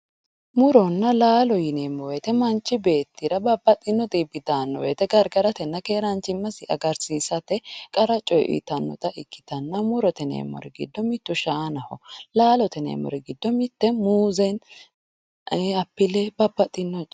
muronna laalo yineemowoyiite manch beettira babbaxino xibbi daanno woyiite gargaratena geranchimasi agarsiisate qara coye uuyiitannota ikkitanna murote gido mitu shaanaho laalote yineemori giddo mitte muuse, apple babbaxinoreeti.